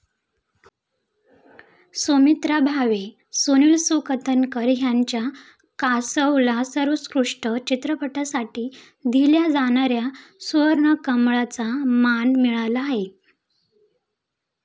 सुमित्रा भावे, सुनील सुकथनकर यांच्या 'कासव'ला सर्वोत्कृष्ट चित्रपटासाठी दिल्या जाणाऱ्या 'सुवर्णकमळ'चा मान मिळाला आहे.